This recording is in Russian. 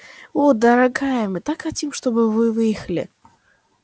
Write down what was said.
о дорогая мы так хотим чтобы вы выехали